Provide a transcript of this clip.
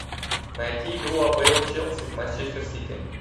найти игру апл челси с манчестер сити